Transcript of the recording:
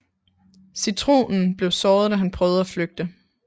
Citronen blev såret da han prøvede at flygte